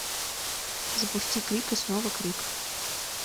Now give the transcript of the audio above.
запусти крик и снова крик